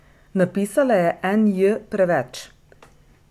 Napisala je en J preveč.